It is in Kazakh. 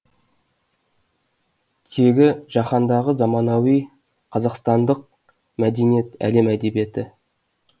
теги жаһандағы заманауи қазақстандық мәдениет әлем әдебиеті